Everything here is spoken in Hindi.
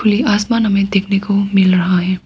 आसमान हमें देखने को मिल रहा है।